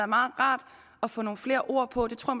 meget rart at få nogle flere ord på og det tror